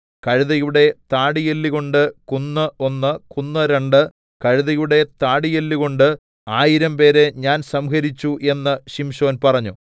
കഴുതയുടെ താടിയെല്ലുകൊണ്ട് കുന്ന് ഒന്ന് കുന്ന് രണ്ട് കഴുതയുടെ താടിയെല്ലുകൊണ്ട് ആയിരംപേരെ ഞാൻ സംഹരിച്ചു എന്ന് ശിംശോൻ പറഞ്ഞു